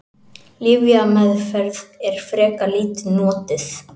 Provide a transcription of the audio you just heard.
Lyfjameðferð er frekar lítið notuð.